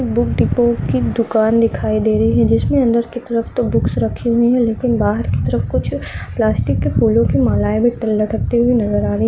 एक book depot की दुकान दिखाई दे रही है जिसमें अंदर की तरफ तो बुक्स रखी हुई है लेकिन बाहर की तरफ कुछ प्लास्टिक के फूलों की मालाएँ लटकती हुई नजर आ रही।